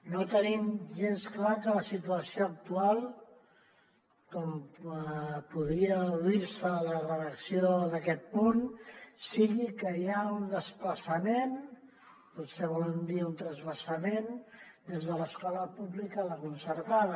no tenim gens clar que la situació actual com podria deduir se de la redacció d’aquest punt sigui que hi ha un desplaçament potser volen dir un transvasament des de l’escola pública a la concertada